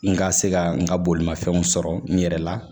N ka se ka n ka bolimafɛnw sɔrɔ n yɛrɛ la